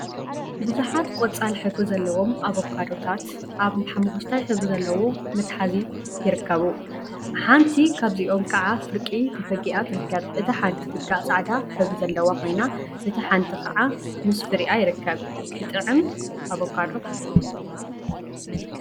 ቡዙሓት ቆጻል ሕብሪ ዘለዎም ኣቨካዶታት ኣብ ሓመኩሽታይ ሕብሪ ዘለዎ መትሐዚ ካሳ ይርከቡ። ሓንቲ ካብዚኦም ከዓ ፍርቂ ተፈጊኣ ትርከብ። እታ ሓንቲ ፍጋእ ጻዕዳ ሕብሪ ዘለዋ ኮይና እታ ሓንቲ ከዓ ምስ ፍሪኣ ይርከባ። ኽጥዕም ኣቨካዶ!